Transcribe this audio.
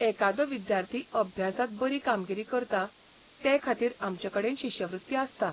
एकादो विद्यार्थी अभ्यासांत बरी कामगिरी करता तेखातीर आमचेकडेन शिश्यवृत्ती आसता.